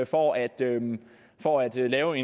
for at for at lave